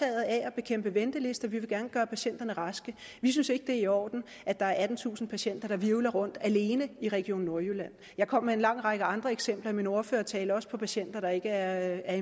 af at bekæmpe ventelister vi vil gerne gøre patienterne raske vi synes ikke det er i orden at der er attentusind patienter der hvirvler rundt alene i region nordjylland jeg kom med en lang række andre eksempler i min ordførertale også på patienter der ikke er